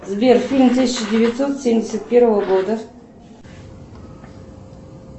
сбер фильм тысяча девятьсот семьдесят первого года